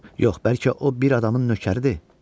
Yox, bəlkə o bir adamın nökəridir?